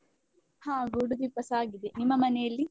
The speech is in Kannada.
ಹಾ ಗೂಡು ದೀಪಸ ಆಗಿದೆ, ನಿಮ್ಮ ಮನೆಯಲ್ಲಿ?